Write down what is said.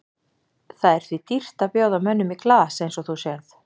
Það er því dýrt að bjóða mönnum í glas eins og þú sérð.